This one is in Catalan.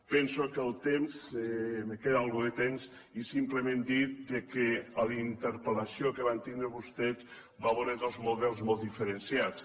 penso que me queda una mica de temps i simplement dir que a la interpel·lació que van tindre vostès va haver hi dos models molt diferenciats